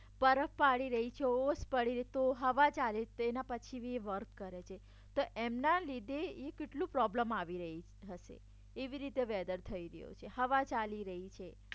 બરફ પડી રડી રહી છે ઓશ પડી રડી રહી છે તો હવા ચાલી રહી છે તો એના પછી પણ વર્ક કરે છે તો એમના લીધે કેટલો પ્રોબ્લેમ આવી રહી હશે એવી રીતે વેધર થઈ રહ્યો છે હવા ચાલી રહી છે